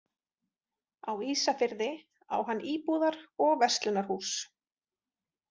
Á Ísafirði á hann íbúðar- og verslunarhús.